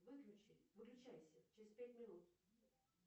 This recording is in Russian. выключи выключайся через пять минут